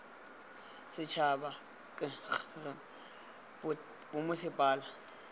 setšhaba k g r bommasepala